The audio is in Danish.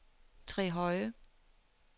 Trehøje